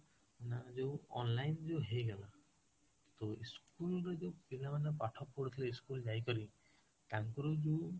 ନା ଯୋଉ online ଯୋଉ ହେଇଗଲା, ତ school ରେ ଯୋଉ ପିଲା ମାନେ ପାଠ ପଢୁଥିଲେ school ଯାଇକିରି, ତାଙ୍କର ଯୋଉ